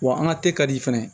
Wa an ka ka di fɛnɛ